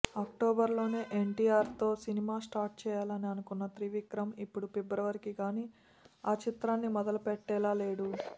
అక్టోబర్లోనే ఎన్టీఆర్తో సినిమా స్టార్ట్ చేయాలని అనుకున్న త్రివిక్రమ్ ఇప్పుడు ఫిబ్రవరికి గానీ ఆ చిత్రాన్ని మొదలు పెట్టేలా లేడు